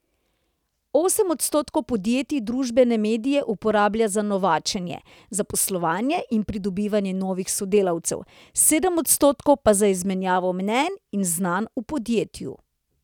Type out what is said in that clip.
Osem odstotkov podjetij družbene medije uporablja za novačenje, zaposlovanje in pridobivanje novih sodelavcev, sedem odstotkov pa za izmenjavo mnenj ali znanj v podjetju.